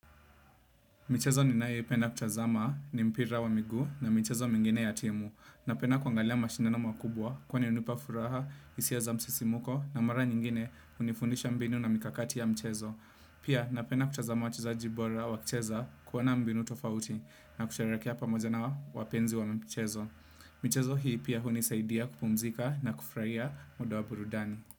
Michezo ninaependa kutazama ni mpira wa miguu na michezo mingine ya timu. Napenda kuangalia mashindano makubwa kwani unipa furaha, isia za msisimuko na mara nyingine unifundisha mbinu na mikakati ya michezo. Pia napenda kutazama wachezaji bora wakicheza kuona mbinu tofauti na kusherekea pamoja na wapenzi wa michezo. Michezo hii pia hunisaidia kupumzika na kufuraia mdo wa burudani.